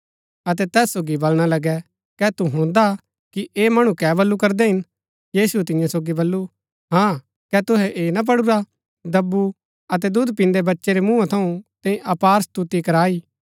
अतै तैस सोगी बलणा लगै कै तु हुणदा कि ऐह मणु कै बल्लू करदै हिन यीशुऐ तियां सोगी बल्लू हाँ कै तुहै ऐह ना पढुरा दब्बु अतै दूध पिन्दै बच्चै रै मुँहा थऊँ तैंई अपार स्तुति कराई